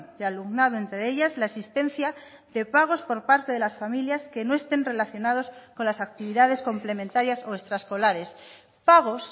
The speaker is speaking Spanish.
de alumnado entre ellas la existencia de pagos por parte de las familias que no estén relacionados con las actividades complementarias o extraescolares pagos